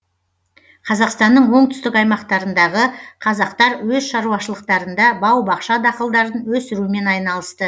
қазақстанның оңтүстік аймақтарындағы қазақтар өз шаруашылықтарында бау бақша дақылдарын өсірумен айналысты